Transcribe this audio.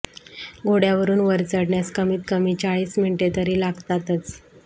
घोड्यावरून वर चढण्यास कमीत कमी चाळीस मिनिटे तरी लागतातच